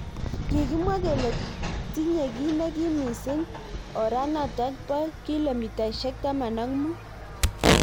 Kikimwa kele tinye ki nekim mising oranatak bo kilomitaishek taman ak mut.